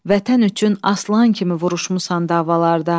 Vətən üçün aslan kimi vuruşmusan davalarda.